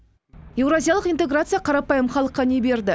еуразиялық интеграция қарапайым халыққа не берді